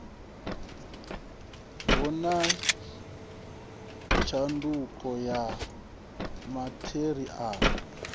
hu na tshanduko ya matheriala